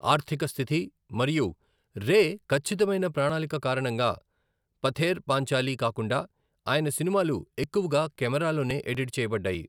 ఆర్థికస్థితి మరియు రే ఖచ్చితమైన ప్రణాళిక కారణంగా, పథేర్ పాంచాలి కాకుండా ఆయన సినిమాలు ఎక్కువగా కెమెరాలోనే ఎడిట్ చేయబడ్డాయి.